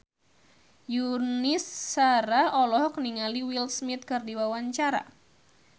Yuni Shara olohok ningali Will Smith keur diwawancara